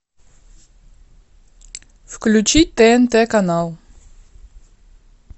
включи тнт канал